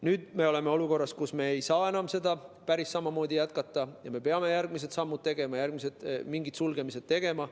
Nüüd oleme olukorras, kus me ei saa enam päris samamoodi jätkata ja me peame järgmised sammud, mingid järgmised sulgemised tegema.